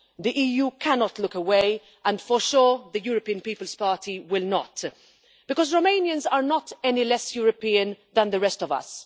The EU cannot look away and, for sure, the European People's Party will not do so, because Romanians are not any less European than the rest of us.